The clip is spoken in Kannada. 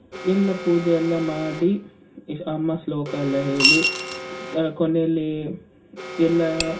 ಎಲ್ಲ ಪೂಜೆ ಎಲ್ಲ ಮಾಡಿ ಅಮ್ಮ ಶ್ಲೋಕ ಎಲ್ಲ ಹೇಳಿ ಆ ಕೊನೆಯಲ್ಲಿ ಎಲ್ಲಾ,